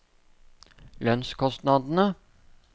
lønnskostnadene